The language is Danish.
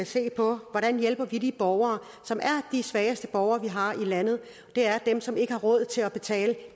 se på hvordan vi hjælper de borgere som er de svageste borgere vi har i landet og det er dem som ikke har råd til at betale